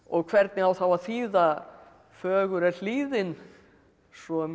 hvernig á þá að þýða fögur er hlíðin svo að mér